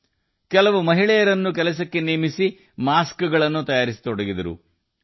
ಅವರು ಕೆಲವು ಮಹಿಳೆಯರನ್ನು ನೇಮಿಸಿಕೊಂಡರು ಮತ್ತು ಮುಖಗವಸುಗಳನ್ನು ತಯಾರಿಸಲು ಪ್ರಾರಂಭಿಸಿದರು